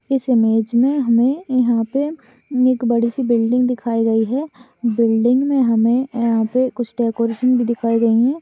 इस इमेज मे हमे यहाँ पे एक बड़ी सी बिल्डिंग दिखाई गयी है। बिल्डिंग में हमे यहाँ पे कुछ डेकोरेशन भी दिखाये गए है।